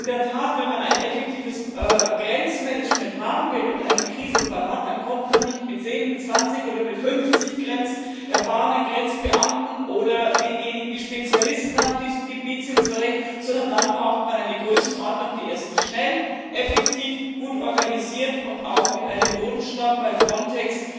Denn wenn man ein effektives Grenzmanagement haben will und einen Krisenfall hat, dann kommt man in der Tat nicht mit 10, mit 20 oder mit 50 erfahrenen Grenzbeamten oder denjenigen, die Spezialisten auf diesem Gebiet sind, zurecht, sondern dann braucht man eine Größenordnung, die erstens schnell, effektiv, gut organisiert und auch mit einem Grundstamm bei Frontex